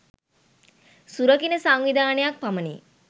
සුරකින සංවිධානයක් පමණි.